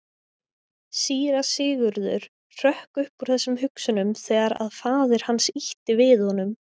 Síra Sigurður hrökk upp úr þessum hugsunum þegar að faðir hans ýtti við honum.